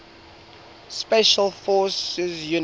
special forces units